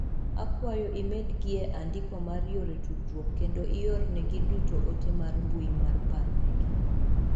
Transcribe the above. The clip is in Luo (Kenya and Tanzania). Akwayo imed gie andiko mar yore tudruok kendo iorne gi duto ote mar mbui mar paro ne gi